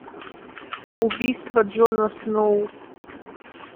убийство джона сноу